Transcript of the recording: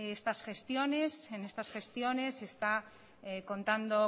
estas gestiones en estas gestiones se está contando